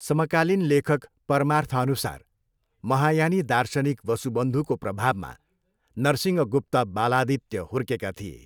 समकालीन लेखक परमार्थअनुसार महायानी दार्शनिक वसुबन्धुको प्रभावमा नरसिंहगुप्त बालादित्य हुर्केका थिए।